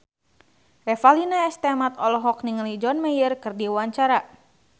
Revalina S. Temat olohok ningali John Mayer keur diwawancara